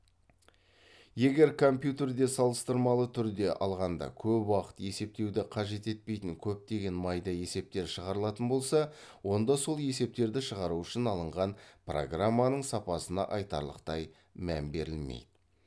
егер компьютерде салыстырмалы түрде алғанда көп уақыт есептеуді қажет етпейтін көптеген майда есептер шығарылатын болса онда сол есептерді шығару үшін алынған программаның сапасына айтарлықтай мән берілмейді